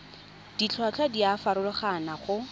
ditlhotlhwa di a farologana go